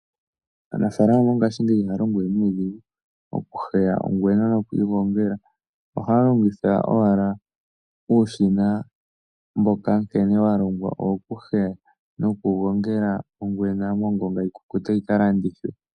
Aanafaalama mongashingeyi ihaya longo we nuudhigu okuheya ongwena noku yi gongela. Ohaya longitha owala uushina mboka nkene wa longwa wokuheya nokugongela ongwena mongonga yi kukute yi ka landithwe.